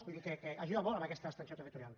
vull dir que ajuda molt a aquesta extensió territorial